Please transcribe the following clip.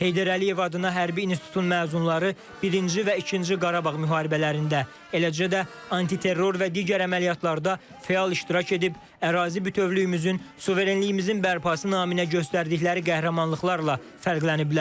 Heydər Əliyev adına Hərbi İnstitutun məzunları birinci və ikinci Qarabağ müharibələrində, eləcə də antiterror və digər əməliyyatlarda fəal iştirak edib, ərazi bütövlüyümüzün, suverenliyimizin bərpası naminə göstərdikləri qəhrəmanlıqlarla fərqləniblər.